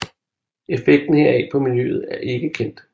Effekten heraf på miljøet er ikke kendt